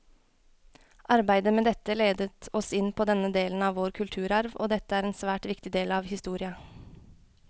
Arbeidet med dette ledet oss inn på denne delen av vår kulturarv, og dette er en svært viktig del av historia.